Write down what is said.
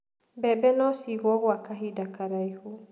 Mbembe no ciigũo gwa kahinda karaihu.